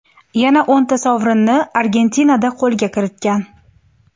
Yana o‘nta sovrinni Argentinada qo‘lga kiritgan.